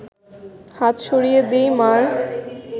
হাত সরিয়ে দিই মা’র